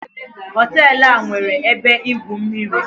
Hotel a nwere ebe igwu mmiri